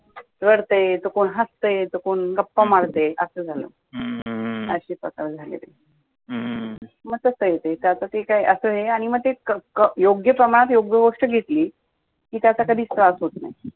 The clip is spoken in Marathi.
तर ते कोण हसतय कोण गप्पा मारतय असं झालं मग तसय ते तर त्यात योग्य प्रमाणात योग्य गोष्ट घेतली की त्याचा कधी त्रास होत नाही